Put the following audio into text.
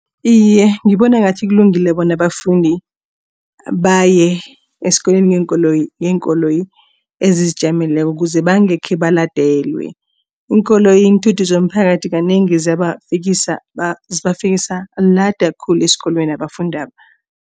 Iye, ngibona ngathi kulungile bona abafundi baye esikolweni ngeenkoloyi ezizijameleko kuze bangekhe baladelwe. Iinkoloyi iinthuthi zomphakathi kanengi zibafikisa lada khulu esikolweni abafundaba.